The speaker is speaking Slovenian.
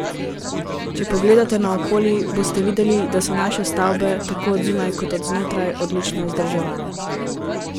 Če pogledate naokoli, boste videli, da so naše stavbe, tako od zunaj kot od znotraj, odlično vzdrževane.